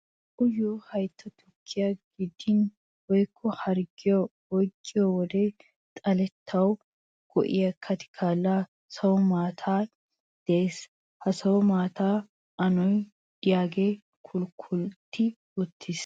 Uyiyo haytta tukkiyan gidin woykko harggee oyqqiyo wode xaletettawu go''iya katikallaa sawu maatay daayiis. Ha sawu maataassi anoy diyagee kulkkati uttiis.